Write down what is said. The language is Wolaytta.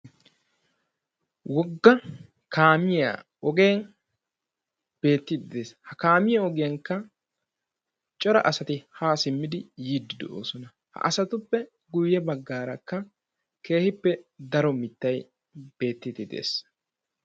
Wogga kaamiya ogee beettes. Ha kaamiya ogiyanikka cora asati ha simmid yiidi de"oosona. Asatuppe guyye bagaraka keehipe cora mittay beettees.